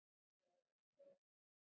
Hún var eldrauð í framan.